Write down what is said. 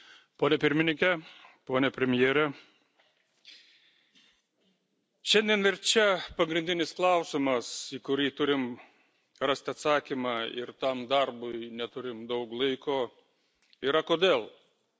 Gerbiamas Pirmininke, pone Premjere, šiandien ir čia pagrindinis klausimas, į kurį turime rasti atsakymą ir tam darbui neturime daug laiko, yra kodėl?